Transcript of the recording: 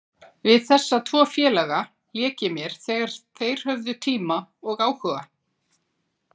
Við þessa tvo félaga lék ég mér þegar þeir höfðu tíma og áhuga.